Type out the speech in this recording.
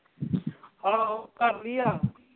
ਆਹੋ ਕਰ ਲਈਆਂ